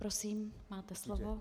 Prosím, máte slovo.